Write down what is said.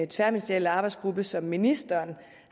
tværministerielle arbejdsgruppe som ministeren